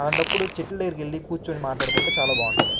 అలాంటప్పుడు చెట్ల దగ్గరికి వెళ్లి కూర్చొని మాట్లాడుకుంటే చాలా బాగుంటుంది.